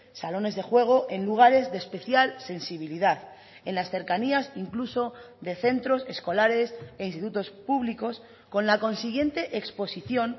salones de juego en lugares de especial sensibilidad en las cercanías incluso de centros escolares e institutos públicos con la consiguiente exposición